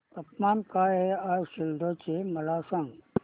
तापमान काय आहे आज सिल्लोड चे मला सांगा